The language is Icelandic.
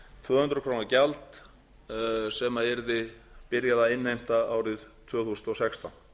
tvö hundruð króna gjald sem yrði byrjað að innheimta árið tvö þúsund og sextán